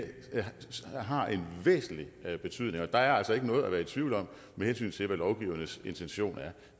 og udvalgsbehandlingen har en væsentlig betydning og der er altså ikke noget at være i tvivl om med hensyn til hvad lovgiverens intention er